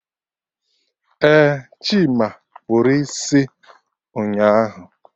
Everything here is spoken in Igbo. Eh, Chima kpụrụ isi ụnyaahụ